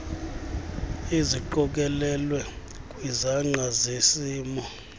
eziqokelelwe kwizangqa zesimo